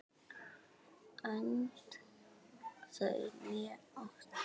Önd þau né áttu